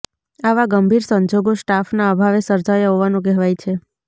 આવા ગંભીર સંજોગો સ્ટાફના અભાવે સર્જાયા હોવાનું કહેવાય છે